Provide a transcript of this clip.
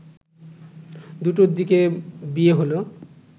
দুটোর দিকে বিয়ে হলো